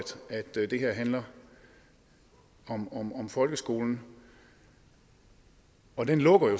det her handler om om folkeskolen og den lukker jo